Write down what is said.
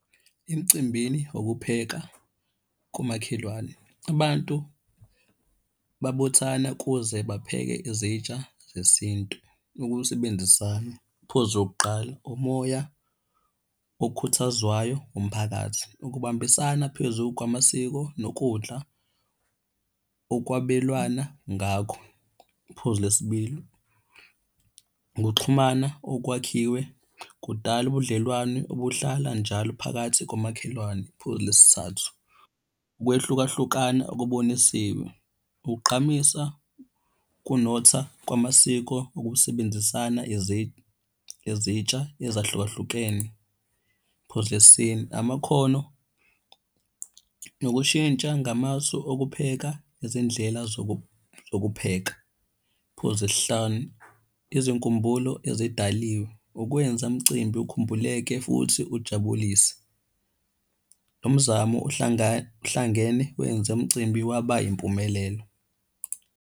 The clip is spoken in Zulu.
Emcimbini, ukupheka komakhelwane. Abantu babuthana kuze bapheke izitsha zesintu. Ukusebenzisana, iphuzu lokuqala, umoya okhuthazwayo umphakathi. Ukubambisana phezu kwamasiko nokudla okwabelwana ngakho. Iphuzu lesibili, ukuxhumana okwakhiwe kudala ubudlelwane obuhlala njalo phakathi komakhelwane. Phuzu lesithathu, ukwehlukahlukana okubonisiwe kugqamisa ukunotha kwamasiko okusebenzisana ezintsha ezahlukahlukene. Phuzu lesine, amakhono nokushintsha ngamasu okupheka ezindlela zokupheka. Phuzu lesihlanu, izinkumbulo ezidaliwe, ukwenza umcimbi ukhumbuleke futhi ujabulise. Umzamo uhlangene wenze umcimbi waba yimpumelelo.